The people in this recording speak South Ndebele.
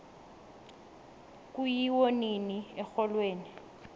kuyiwo nini exholweni